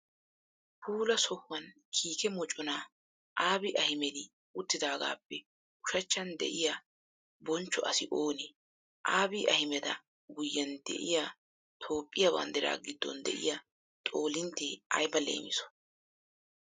Puula sohuwani kiike mocona Abiy Ahmed utidaagappe ushachchan de'iyaa bonchcho asi oone? Abiy Ahmeda guyen de'iya Toophphiyaa banddiraa gidon de'iyaa xoollintte ayba leemiso?